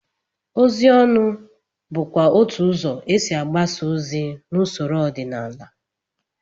Ozi ọnụ bụkwa otú ụzọ e si agbasa ozi n'usoro ọdịnala